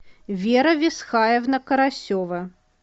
вера висхаевна карасева